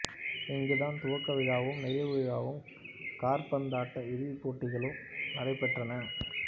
இங்குதான் துவக்க விழாவும் நிறைவு விழாவும் காற்பந்தாட்ட இறுதிப் போட்டியும் நடைபெற்றன